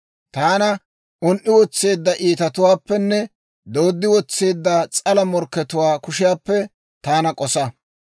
Taana un"i wotseedda iitatuwaappenne dooddi wotseedda s'ala morkkatuwaa kushiyaappe taana k'osa.